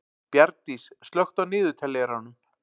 Bjargdís, slökktu á niðurteljaranum.